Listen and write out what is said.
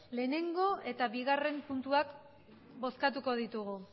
batgarrena eta bi puntuak bozkatuko ditugu